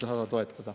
Ei taha toetada.